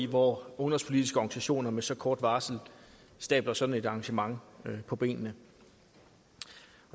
hvor ungdomspolitiske organisationer med så kort varsel stabler sådan et arrangement på benene